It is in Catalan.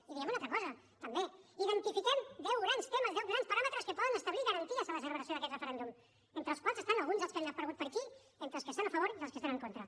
i hi diem una altra cosa també hi identifiquem deu grans temes deu grans paràmetres que poden establir garanties per a la celebració d’aquest referèndum entre els quals n’hi han alguns dels que han aparegut per aquí entre els que hi estan a favor i els que hi estan en contra